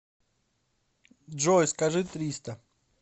джой скажи триста